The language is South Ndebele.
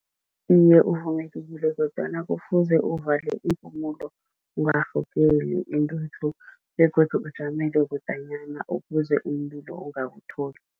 Iye, kufuze uvale iimpumulo ungarhogeli intuthu begodu ujamele kudanyana ukuze umlilo ungakutholi.